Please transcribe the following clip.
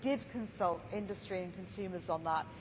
We did consult industry and consumers on that.